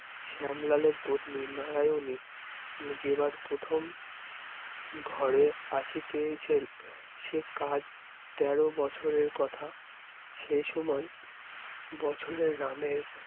শ্যামলালের পত্নী, নারায়নী জেবার প্রথম ঘরে আসিতেছেন সে কাজ তেরো বছরের কথা এ সময় বছরের রামের